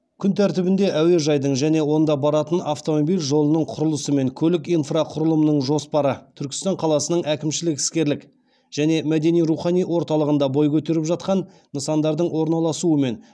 күн тәртібінде әуежайдың және онда баратын автомобиль жолының құрылысы мен көлік инфрақұрылымының жоспары түркістан қаласының әкімшілік іскерлік және мәдени рухани орталығында бой көтеріп жатқан нысандардың орналасуы мен